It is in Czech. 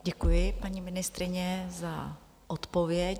Děkuji, paní ministryně, za odpověď.